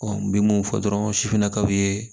n bɛ mun fɔ dɔrɔn sifinna kaw ye